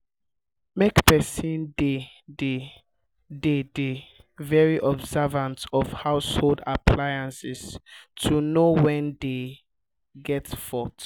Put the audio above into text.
make person dey de dey de very observant of household appliances to know when dem get fault